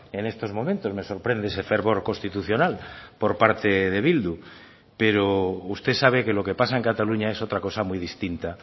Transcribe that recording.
en estos momentos me sorprende ese fervor constitucional por parte de bildu pero usted sabe que lo que pasa en cataluña es otra cosa muy distinta